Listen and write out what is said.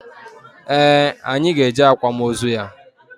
Ee, anyị ga eje akwamozu ya